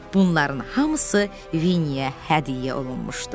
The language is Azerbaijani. Bunların hamısı Vinnəyə hədiyyə olunmuşdu.